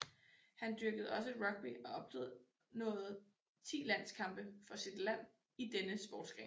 Han dyrkede også rugby og opnåede ti landskampe for sit land i denne sportsgren